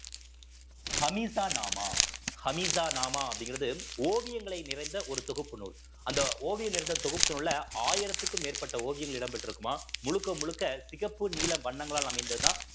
ஹமிசா நாமா ஹமிசா நாமா அப்படிங்கிறது ஓவியங்களை நிறைந்த ஒரு தொகுப்பு நூல் அந்த ஓவியம் நிறைந்த தொகுப்பில் உள்ள ஆயிரத்துக்கும் மேற்பட்ட ஓவியங்கள் இடம் பெற்றிருக்குமாம் முழுக்க முழுக்க சிகப்பு நீல வண்ணங்களால் அமைந்ததுதான்